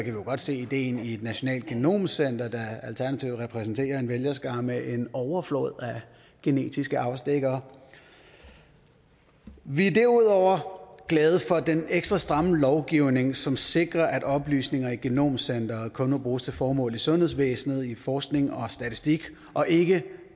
jo godt se ideen i et nationalt genomcenter da alternativet repræsenterer en vælgerskare med en overflod af genetiske afstikkere vi er derudover glade for den ekstra stramme lovgivning som sikrer at oplysninger i genomcenteret kun må bruges til formål i sundhedsvæsenet i forskning og statistik og ikke